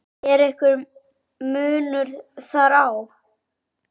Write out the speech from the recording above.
Er einhver munur þar á?